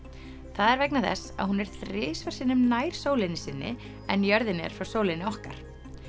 það er vegna þess að hún er þrisvar sinnum nær sólinni sinni en jörðin er frá sólinni okkar